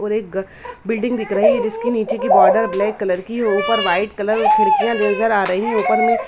और एक बिल्डिंग दिख रही जिसके निचे की बॉर्डर ब्लैक कलर की है ऊपर व्हाइट कलर में खिड़कियां नेज़र आ रही हैं ऊपर में--